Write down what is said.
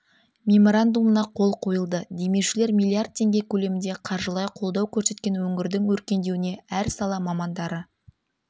меморандумына қол қойылды демеушілер миллиард теңге көлемінде қаржылай қолдау көрсеткен өңірдің өркендеуіне әр сала мамандары